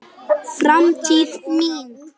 Framtíð mín?